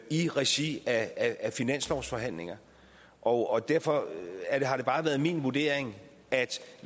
i regi af af finanslovsforhandlingerne og derfor har det bare været min vurdering at